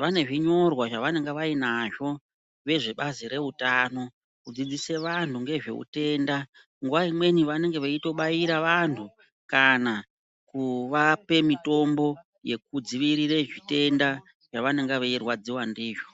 vane zvinyorwa zvavanenge vainazvo vezvebazi reutano kudzidzise vanhu ngezveutenda nguva imweni vanenge veitobaira vanhu kana kuvape mitombo yekudzivirira zvitenda zvavanonga veirwadziwa ndizvo.